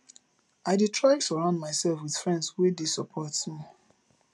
i dey try surround mysef wit friends wey dey support me